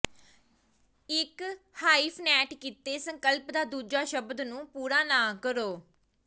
ਇੱਕ ਹਾਈਫਨੈਟ ਕੀਤੇ ਸੰਕਲਪ ਦਾ ਦੂਜਾ ਸ਼ਬਦ ਨੂੰ ਪੂਰਾ ਨਾ ਕਰੋ